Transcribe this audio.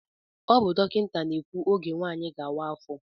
Ọ bụ dọkịta na-ekwu ógè nwanyị gá-awa afọ.